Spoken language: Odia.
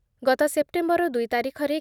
ଗତ ସେପ୍ଟେମ୍ବର ଦୁଇ ତାରିଖରେ